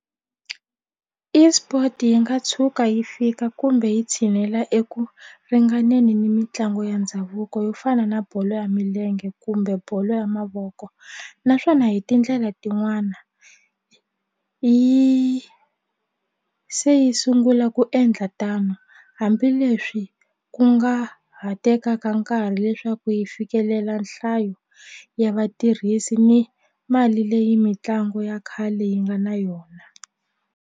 ESport yi nga tshuka yi fika kumbe yi tshinela eku ringaneni ni mitlangu ya ndhavuko yo fana na bolo ya milenge kumbe bolo ya mavoko naswona hi tindlela tin'wana yi se yi sungula ku endla tano hambileswi ku nga ha tekaka nkarhi leswaku yi fikelela nhlayo ya vatirhisi ni mali leyi mitlangu ya khale yi nga na yona.